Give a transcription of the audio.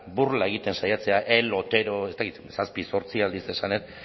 burla egiten saiatzea el otero ez dakit zazpi zortzi aldiz esan nahi dut